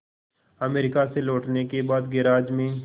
America से लौटने के बाद गैराज में